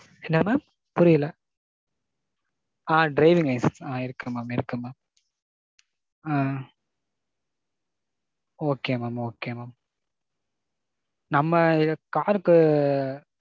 என்ன mam? புரியல? ஆ driving license, ஆ இருக்கு mam இருக்கு mam. ஆ. Okay mam okay mam. நம்ம car க்கு.